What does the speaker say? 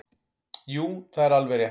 Jú það er alveg rétt.